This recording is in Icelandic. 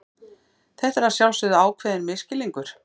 Þetta er að sjálfsögðu ákveðinn misskilningur.